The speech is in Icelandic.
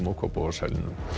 Kópavogshæli